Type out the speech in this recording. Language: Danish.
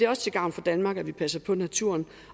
også til gavn for danmark at vi passer på naturen